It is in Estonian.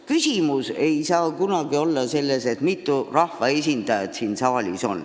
Küsimus ei saa kunagi olla selles, mitu rahvaesindajat siin saalis on.